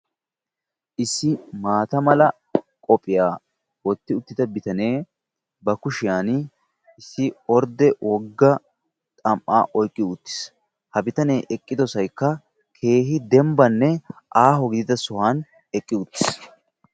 issi maata mala bottiya bitanne ba kushiyaani issi woga orde xam'a ouyqi utytiis. ha bitanee eqqido sohoykka dembanne keehi aaho sohuwan eqqi utiis.